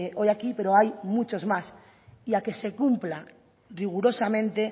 hoy aquí pero hay muchos más y a que se cumpla rigurosamente